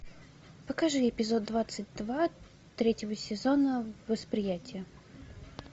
покажи эпизод двадцать два третьего сезона восприятие